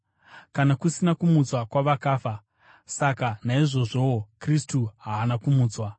Kana kusina kumutswa kwavakafa, saka naizvozvowo Kristu haana kumutswa.